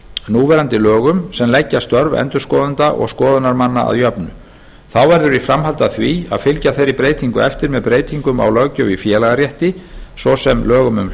núverandi lögum sem leggja störf endurskoðenda og skoðunarmanna að jöfnu þá verður í framhaldi af því að fylgja þeirri breytingu eftir með breytingum á löggjöf í félagarétti svo sem lögum um